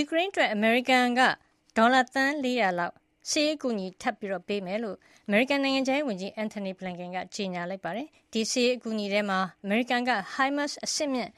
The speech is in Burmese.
ူကရိန်းအတွက် အမေရိကန်ဒေါ်လာ သန်း ၄၀၀ လောက် စစ်ရေးအကူအညီ ထပ်မံပေးအပ်မှာဖြစ်ကြောင်း အမေရိကန် နိုင်ငံခြားရေးဝန်ကြီး Antony Blinken က ကြေညာပါတယ်။ ဒီစစ်ရေး အကူအညီထဲမှာ အမေရိကန်က HIMARS အဆင့်မြင့်